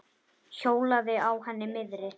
Hjólaði á henni miðri.